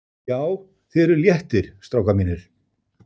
JÁ, ÞIÐ ERUÐ LÉTTIR, STRÁKAR MÍNIR!